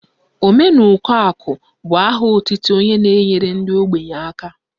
Omenukoakụ bụ aha otutu onye na-nyere ndị ogbenye aka